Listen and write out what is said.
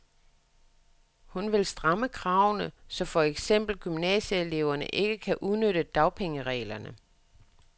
Hun vil stramme kravene, så for eksempel gymnasieelever ikke kan udnytte dagpengereglerne.